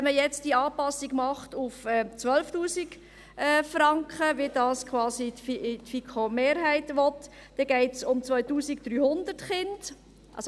Wenn man die Anpassung auf 12 000 Franken macht, wie die FiKo-Mehrheit will, dann geht es um 2300 Kinder.